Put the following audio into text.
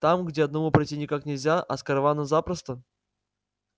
там где одному пройти никак нельзя а с караваном запросто